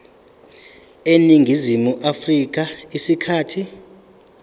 eningizimu afrika isikhathi